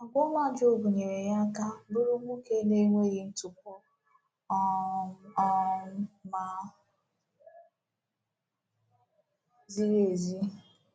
Àgwà ọma Jọb nyere ya aka bụrụ nwoke “na-enweghị ntụpọ um um ma ziri ezi.”